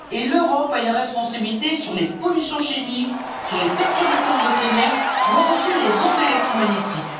Et l'Europe a une responsabilité sur les pollutions chimiques, sur les perturbateurs endocriniens, voire aussi sur les ondes électromagnétiques.